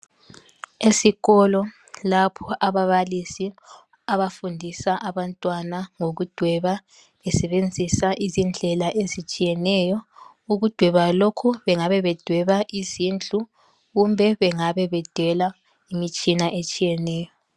Esikolo lapho ababalisi abafundisa abantwana ngokudweba besebenzisa izindlela ezitshiyeneyo. Ukudweba lokhu bengabe bedweba izindlu kumbe bengabe bedela imitshina etshiyeneyo.